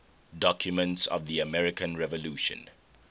documents of the american revolution